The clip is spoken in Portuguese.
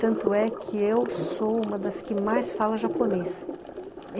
Tanto é que eu sou uma das que mais fala japonês.